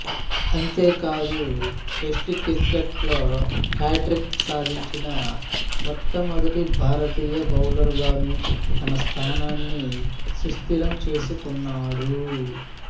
అంతేకాదు test cricket లో hat trick సాధించిన మొట్టమొదటి భారతీయ బౌలర్ గాను తన స్థానాన్ని సుస్థిరం చేసుకున్నాడు